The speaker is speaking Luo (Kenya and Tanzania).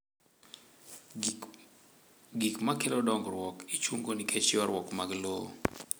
Gik ma kelo dongruok ichung'o nikech ywarruok mag lowo